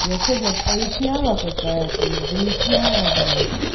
я что блять поясняла какая-то или выясняла блять